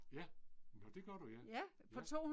Ja. Nå det gør du ja. Ja